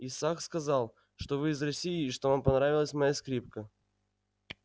исаак сказал что вы из россии и что вам понравилась моя скрипка